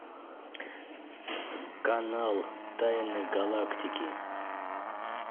канал тайны галактики